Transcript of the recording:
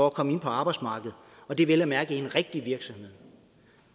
at komme ind på arbejdsmarkedet og det vel at mærke på en rigtig virksomhed